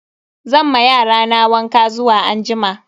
Zan ma yarana wanka zuwa anjima.